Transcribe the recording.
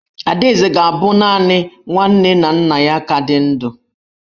Adaeze ga-abụ naanị nwa nne na nna ya ka dị ndụ.